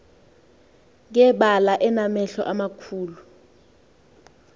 ngebala enamehlo amakhulu